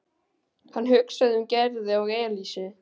Hann hugsaði um Gerði og Elísu.